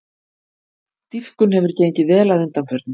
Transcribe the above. Dýpkun hefur gengið vel að undanförnu